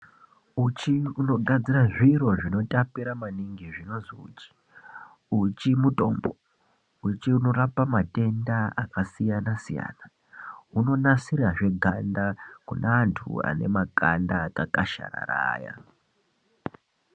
Uchi unogadzira zviro zvinotapira maningi zvinozi uchi, uchi mutombo , uchi unorapa matenda akasiyana-siyana unonasirazve ganda kune antu ane makanda akakasharara aya.